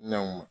Nanw ma